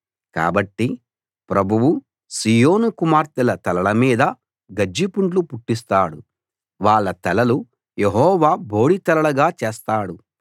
కాబట్టి ప్రభువు సీయోను కుమార్తెల తలల మీద గజ్జి పుండ్లు పుట్టిస్తాడు వాళ్ళ తలలు యెహోవా బోడి తలలుగా చేస్తాడు